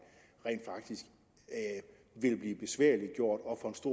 rent faktisk vil blive besværliggjort